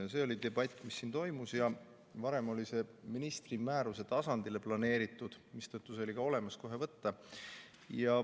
Varem olid ministri määruse tasandile planeeritud, mistõttu need olid olemas ja kohe võtta.